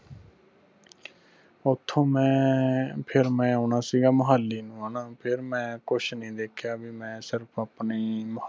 ਓਥੋਂ ਮੈਂ ਫਿਰ ਮੈਂ ਓਨਾ ਸੀਗਾ ਮੁਹਾਲੀ ਨੂੰ ਹਣਾ ਫਿਰ ਮੈਂ ਕੁਛ ਨਹੀਂ ਦੇਖਿਆ ਬਈ ਮੈਂ ਸਿਰਫ ਆਪਣੀ